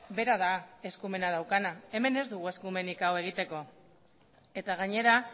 bera da eskumena daukana hemen ez dugu eskumenik hau egiteko eta gainera